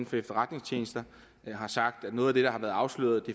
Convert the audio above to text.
for efterretningstjenesterne har sagt at noget af det der har været afsløret